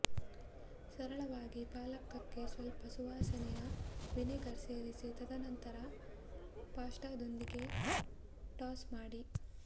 ಸರಳವಾಗಿ ಪಾಲಕಕ್ಕೆ ಸ್ವಲ್ಪ ಸುವಾಸನೆಯ ವಿನೆಗರ್ ಸೇರಿಸಿ ತದನಂತರ ಪಾಸ್ಟಾದೊಂದಿಗೆ ಟಾಸ್ ಮಾಡಿ